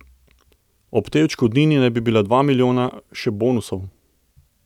Ob tej odškodnini naj bi bila dva milijona še bonusov.